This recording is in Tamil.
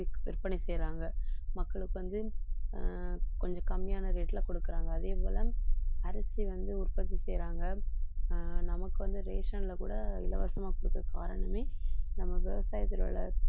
விற்பனை செய்யறாங்க மக்களுக்கு வந்து ஆஹ் கொஞ்சம் கம்மியான rate ல கொடுக்கறாங்க அதே போல அரிசி வந்து உற்பத்தி செய்யறாங்க ஆஹ் நமக்கு வந்து ration ல கூட இலவசமா கொடுக்க காரணமே நம்ம விவசாயத்தில உள்ள